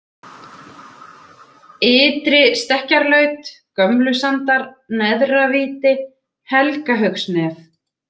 Ytri-Stekkjarlaut, Gömlusandar, Neðra-Víti, Helgahaugsnef